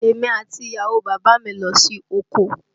Èmi àti ìyàwó bàbá mi lọ sí oko